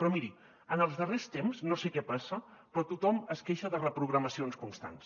però miri en els darrers temps no sé què passa però tothom es queixa de reprogramacions constants